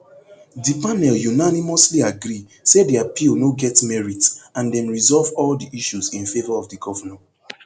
di panel unanimously agree say di appeal no get merit and dem resolve all di issues in favour of di govnor